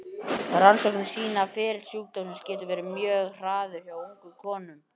Rannsóknir sýna að ferill sjúkdómsins getur verið mjög hraður hjá ungum konum.